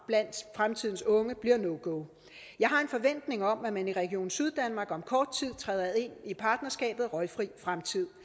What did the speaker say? blandt fremtidens unge bliver no go jeg har en forventning om at man i region syddanmark om kort tid træder ind i partnerskabet røgfri fremtid